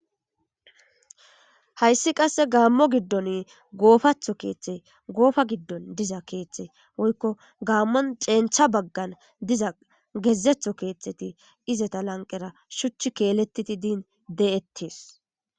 Hayssi qasse gaammo giddon goofatho keeththe goofa giddon diza keeththe woykko gaammon cencha baggan diza gezetho keeththeti izeta lanqera shuchchi keeletiti diin de7ettees